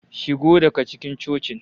Shigo daga cikin cocin!